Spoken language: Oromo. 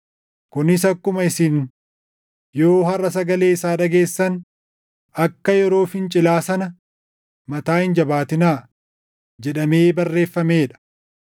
Kunis akkuma, “Isin yoo harʼa sagalee isaa dhageessan, akka yeroo fincilaa sana, mataa hin jabaatinaa” + 3:15 \+xt Far 95:7,8\+xt* jedhamee barreeffamee dha.